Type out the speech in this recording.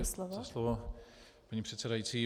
Děkuji za slovo, paní předsedající.